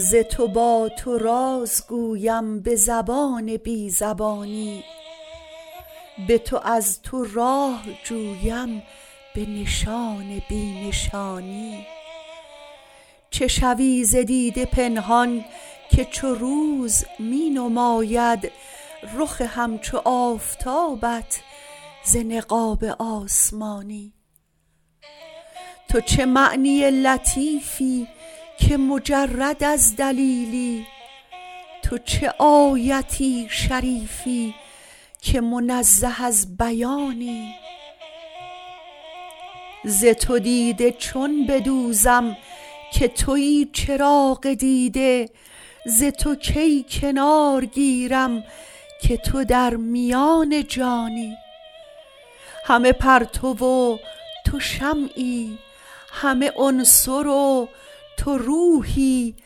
ز تو با تو راز گویم به زبان بی زبانی به تو از تو راه جویم به نشان بی نشانی چه شوی ز دیده پنهان که چو روز می نماید رخ همچو آفتابت ز نقاب آسمانی تو چه معنی لطیفی که مجرد از دلیلی تو چه آیت شریفی که منزه از بیانی ز تو دیده چون بدوزم که تویی چراغ دیده ز تو کی کنار گیرم که تو در میان جانی همه پرتو و تو شمعی همه عنصر و تو روحی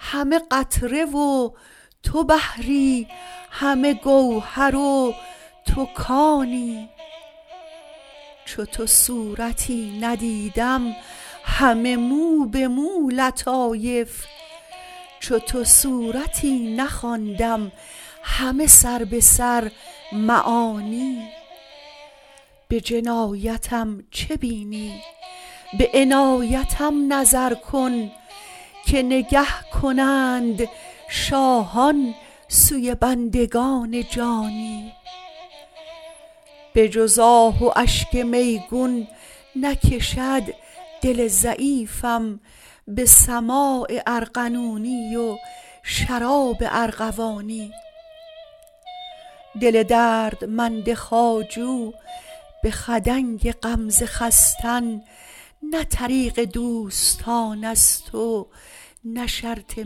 همه قطره و تو بحری همه گوهر و تو کانی چو تو صورتی ندیدم همه موبه مو لطایف چو تو سورتی نخواندم همه سربه سر معانی به جنایتم چه بینی به عنایتم نظر کن که نگه کنند شاهان سوی بندگان جانی به جز آه و اشک میگون نکشد دل ضعیفم به سماع ارغنونی و شراب ارغوانی دل دردمند خواجو به خدنگ غمزه خستن نه طریق دوستانست و نه شرط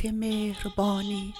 مهربانی